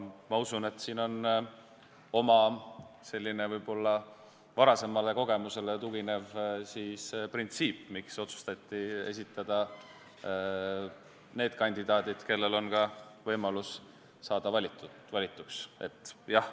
Ma usun, et mängus on selline võib-olla varasemale kogemusele tuginev printsiip, miks otsustati esitada need kandidaadid, kellel oli ka võimalus saada valituks.